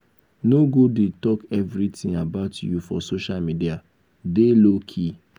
no go dey talk everything about you for social media dey low key.